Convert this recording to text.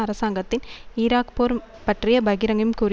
அரசாங்கத்தின் ஈராக் போர் பற்றிய பகிரங்கும் கூறி